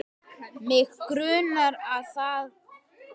Mig grunar að svo sé.